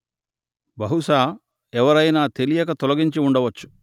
బహుశా ఎవరయినా తెలియక తొలగించి ఉండవచ్చు